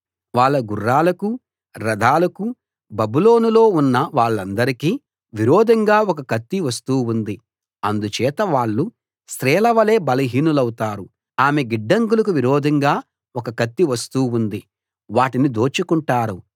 వాళ్ళ గుర్రాలకూ రథాలకూ బబులోనులో ఉన్న వాళ్ళందరికీ విరోధంగా ఒక కత్తి వస్తూ ఉంది అందుచేత వాళ్ళు స్త్రీల వలే బలహీనులౌతారు ఆమె గిడ్డంగులకు విరోధంగా ఒక కత్తి వస్తూ ఉంది వాటిని దోచుకుంటారు